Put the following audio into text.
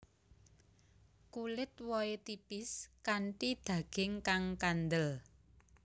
Kulit wohé tipis kanthi daging kang kandel